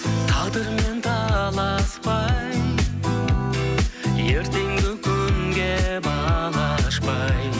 тағдырмен таласпай ертеңгі күнге бал ашпай